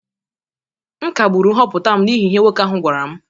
M kagburu nhọpụta m n’ihi ihe nwoke ahụ gwara m